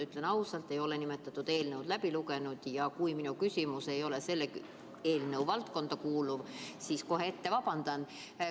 Ütlen ausalt, ma ei ole seda eelnõu läbi lugenud, ja kui mu küsimus ei ole eelnõu valdkonda kuuluv, siis kohe ette vabandan.